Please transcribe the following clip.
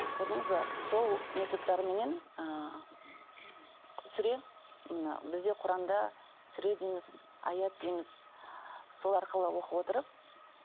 көрдіңіз бе сол методтарменен ы сүре мына бізде құранда сүре дейміз аят дейміз сол арқылы оқып отырып